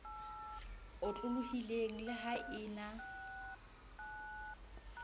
otlolohileng le ha e na